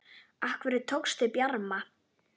Af hverju tókstu Bjarma?